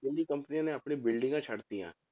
ਦਿੱਲੀ ਕੰਪਨੀਆਂ ਨੇ ਆਪਣੀ ਬਿਲਡਿੰਗਾਂ ਛੱਡ ਦਿੱਤੀਆਂ